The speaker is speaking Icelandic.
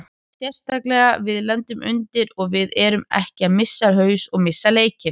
Sérstaklega við lendum undir og við erum ekki að missa haus og missa leikinn.